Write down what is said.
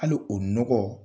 Hali o nɔgɔ